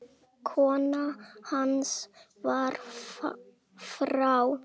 Kona hans var frá